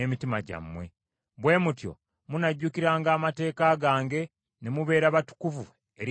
Bwe mutyo munajjukiranga amateeka gange ne mubeera batukuvu eri Katonda wammwe.